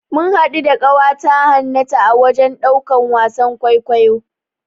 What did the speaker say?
Mun haɗu da ƙawata Hannatu a wajen ɗaukan wasan kwaikwayo.